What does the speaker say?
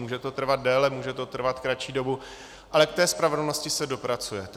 Může to trvat déle, může to trvat kratší dobu, ale k té spravedlnosti se dopracujete.